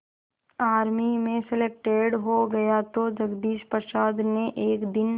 army में selected हो गया तो जगदीश प्रसाद ने एक दिन